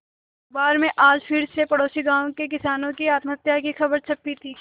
अखबार में आज फिर पड़ोसी गांवों के किसानों की आत्महत्या की खबर छपी थी